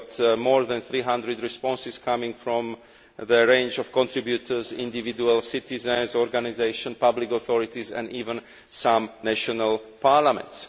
We got more than 300 responses coming from a range of contributors individual citizens, organisations, public authorities and even some national parliaments.